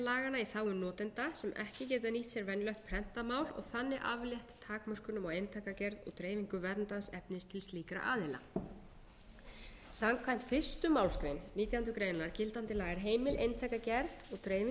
prentað mál og þannig aflétt takmörkunum á eintakagerð og dreifingu verndaðs efnis til slíkra aðila samkvæmt fyrstu málsgrein nítjánda grein gildandi laga er heimil eintakagerð og dreifing